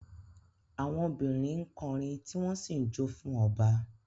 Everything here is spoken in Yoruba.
Àwọn obìnrin ń kọrin tí wọ́n sì ń jó fún ọba